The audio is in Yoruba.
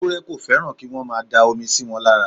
Ewúrẹ́ kò fẹ́ràn kí wọ́n máa da omi síwọn lára.